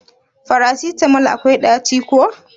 Farasitamol akwai daci ko?